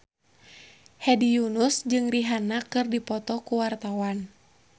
Hedi Yunus jeung Rihanna keur dipoto ku wartawan